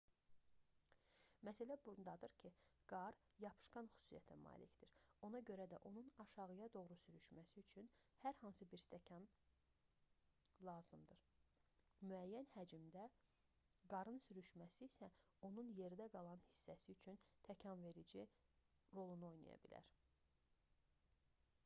məsələ bundadır ki qar yapışqan xüsusiyyətə malikdir ona görə də onun aşağıya doğru sürüşməsi üçün hər hansı bir təkan lazımdır müəyyən həcmdə qarın sürüşməsi isə onun yerdə qalan hissəsi üçün təkanverici rolunu oynaya bilər